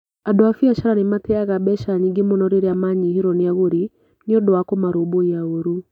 Andũ a biacara nĩ mateaga mbeca nyingĩ mũno rĩrĩa maranyihĩrũo nĩ agũri nĩ ũndũ wa kũmarũmbũiya ũũru.